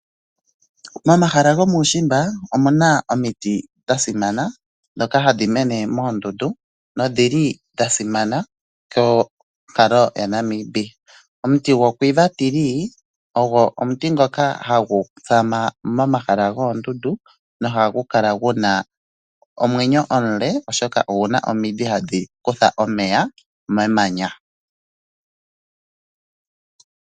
Momahala gomuushimba omu na omiti dha simana ndhoka hadhi mene moondundu nodhili dha simana dhonkalo yaNamibia. Omuti gwoQuiva tree ogo omuti ngoka hagu tsama momahala goondundu nohagu kala gu na omwenyo omule oshoka ogu na omidhi hadhi kutha omeya memanya.